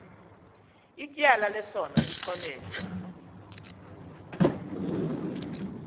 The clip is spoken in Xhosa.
ityala lesono lixolelwe